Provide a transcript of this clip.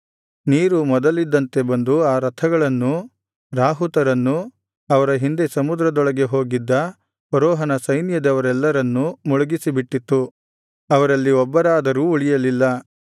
ನೀರು ಮೊದಲಿನಂತೆ ಬಂದು ಆ ರಥಗಳನ್ನೂ ರಾಹುತರನ್ನೂ ಅವರ ಹಿಂದೆ ಸಮುದ್ರದೊಳಗೆ ಹೋಗಿದ್ದ ಫರೋಹನ ಸೈನ್ಯದವರೆಲ್ಲರನ್ನೂ ಮುಳುಗಿಸಿಬಿಟ್ಟಿತ್ತು ಅವರಲ್ಲಿ ಒಬ್ಬರಾದರೂ ಉಳಿಯಲಿಲ್ಲ